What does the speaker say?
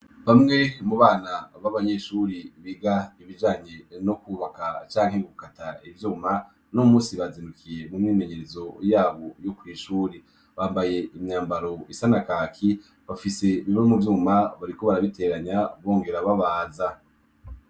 Bamwe mu bana b'abanyeshure biga ibijanye no kwubaka canke gukata ivyuma, uno musi bazindukiye mu myimenyerezo yabo yo kw'ishure. Bambaye imyambaro isa na kaki, bafise ironkovyuma, bariko barabiteranya bongera babaza.